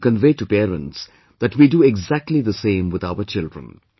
I would like to convey to parents that we do exactly the same with our children